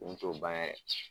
Dun t'o ban yɛrɛ.